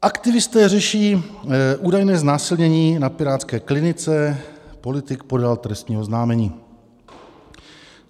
Aktivisté řeší údajné znásilnění na pirátské Klinice, politik podal trestní oznámení.